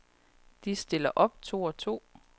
De stiller op to og to.